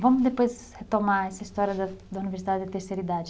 Vamos depois retomar essa história da da Universidade da Terceira Idade.